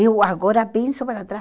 Eu agora penso para trás.